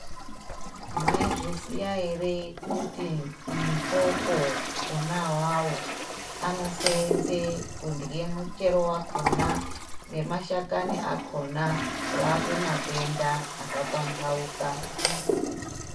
Mwaizviziya ere kuti mipopo ona awawo anosendwe kurya awawo nemashakani akona kurapa matenda aka pambauka.